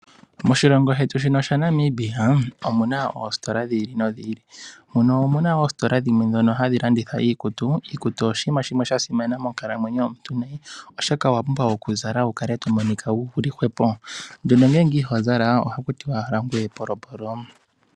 Moshilongo shetu shino shaNamibia omu na oositola dhi ili nodhi ili omu na oositola dhimwe ndhoka hadhi landitha iikutu. Iikutu oshinima shimwe sha simana monkalamwenyo yomuntu oshoka owa pumbwa okuzala wu kale to momonika wuli hwepo nduno ngele iho zala oha ku tiwa owala ngoye epolopolo.